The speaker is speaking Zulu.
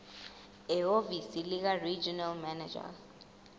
ehhovisi likaregional manager